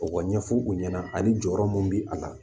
O ka ɲɛfɔ u ɲɛna ani jɔyɔrɔ mun bɛ a la